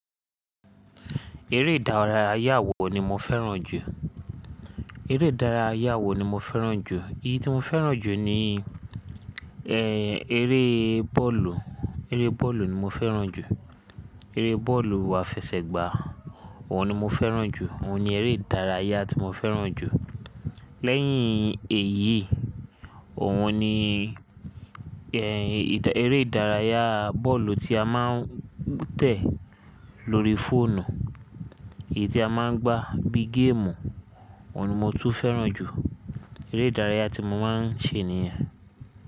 Eré ìdárayá àwọ̀ ni mo fẹ́ràn jù. Eré ìdárayá àwọ̀ ni mo fẹ́ràn jù. Èyí tí mo fẹ́ràn jù ni, ẹ, eré bọ́ọ̀lù. Eré bọ́ọ̀lù ni mo fẹ́ràn jù. Eré bọ́ọ̀lù àfẹsẹ̀gbá, òhun ni mo fẹ́ràn jù. Òhun ni eré ìdárayá tí mo fẹ́ràn jù. Lẹ́yìn èyí, òhun ni, ẹ, eré ìdárayá bọ́ọ̀lù tí a máa ń tẹ̀ lórí fóònù. Èyí tí a máa ń gbá bí game. Òhun ni mo tún fẹ́ràn jù. Eré ìdárayá tí mo máa ń ṣe nìyẹn.